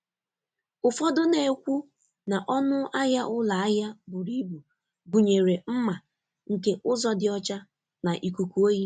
Ụfọdụ na-ekwu na ọnụ ahịa ụlọ ahịa buru ibu gụnyere mma nke ụzọ dị ọcha na ikuku oyi.